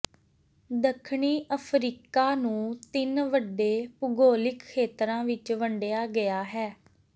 ਦੱਖਣੀ ਅਫਰੀਕਾ ਨੂੰ ਤਿੰਨ ਵੱਡੇ ਭੂਗੋਲਿਕ ਖੇਤਰਾਂ ਵਿੱਚ ਵੰਡਿਆ ਗਿਆ ਹੈ